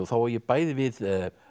þá á ég bæði við